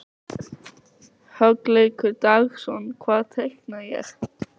Hugleikur Dagsson: Hvað teikna ég?